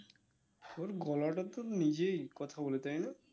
ওর গলাটা তো নিজেই কথা বলে তাই না